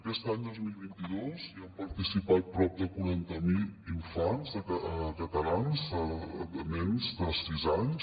aquest any dos mil vint dos hi han participat prop de quaranta mil infants catalans nens de sis anys